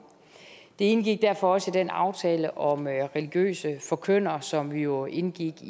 det indgik derfor også i den aftale om religiøse forkyndere som vi jo indgik